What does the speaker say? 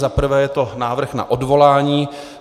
Za prvé je to návrh na odvolání.